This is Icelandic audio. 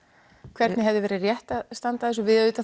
hvernig hefði verið rétt að standa í þessu við